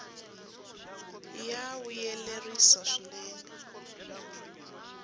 ya vuyerisa swinene